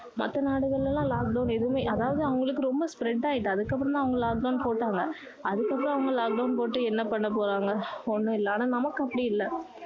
மத்த நாடுகள் எல்லாம் lockdown எதுவுமே அதாவது அவங்களுக்கு ரொம்ப spread ஆகிட்டு அதுக்கு அப்பறம் தான் அவங்க lockdown போட்டாங்க அதுக்கு அப்பறம் அவங்க lockdown போட்டு என்ன பண்ண போறாங்க ஒண்ணும் இல்ல ஆனா நமக்கு அப்படி இல்ல